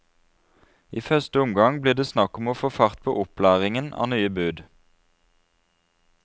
I første omgang blir det snakk om å få fart på opplæringen av nye bud.